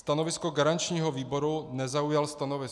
Stanovisko garančního výboru - nezaujal stanovisko.